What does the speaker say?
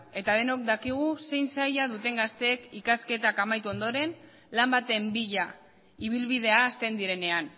eta denok dakigu zein zaila duten gazteek ikasketak amaitu ondoren lan baten bila ibilbidea hasten direnean